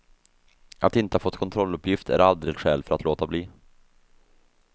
Att inte ha fått kontrolluppgift är aldrig ett skäl för att låta bli.